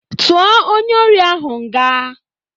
Tụo onye ori ahụ nga!